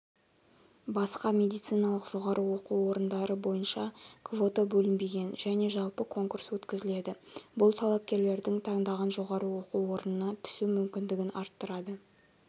басқа медициналық жоғары оқу орындары бойынша квота бөлінбеген және жалпы конкурс өткізіледі бұл талапкерлердің таңдаған жоғары оқу орнына түсу мүмкіндігін арттырады